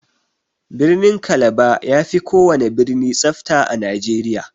Birnin kalaba yafi kowana birni tsafta a nigeria.